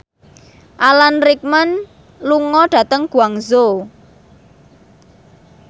Alan Rickman lunga dhateng Guangzhou